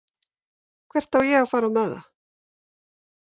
Hvert á ég að fara með það?